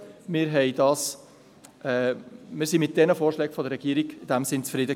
Wir waren mit den Vorschlägen der Regierung in dem Sinn zufrieden.